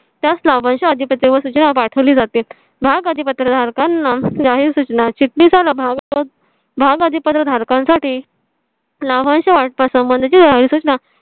त्याच लाभांश च्या आधिपत्र व सूचना पाठवली जाते भाग अधी पत्र धारकांना जाहीर सूचना चिटणीसाला मग तो भाग आधी पदवीधारकांसाठी ला लाभांश वाटपा संबंधी सूचना